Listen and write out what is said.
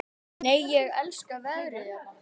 Nei, ég elska veðrið hérna!